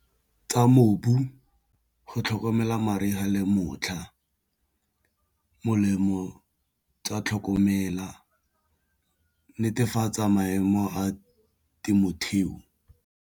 Tsa mobu go tlhokomela mariga le motlha molemo tsa tlhokomela netefatsa maemo a temothuo.